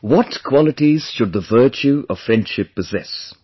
What qualities should the virtue of friendship possess